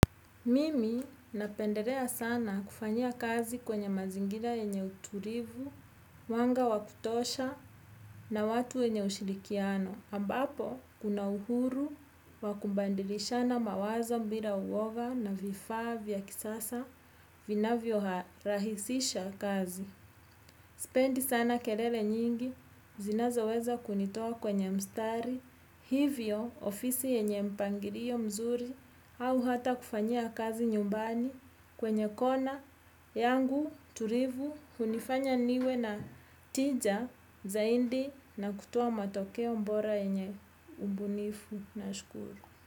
Mimi napenderea sana kufanya kazi kwenye mazingira yenye uturivu, wanga wakutosha na watu enye ushirikiano. Ambapo, kuna uhuru, wakumbandilisha na mawazo mbira uoga na vifaa vya kisasa, vinavyo ha rahisisha kazi. Sipendi sana kelele nyingi, zinazoweza kunitoa kwenye mstari, hivyo ofisi yenye mpangirio mzuri au hata kufanyia kazi nyumbani kwenye kona, yangu turivu, hunifanya niwe na tija zaindi na kutoa matokeo mbora yenye umbunifu nashukuru.